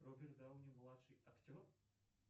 роберт дауни младший актер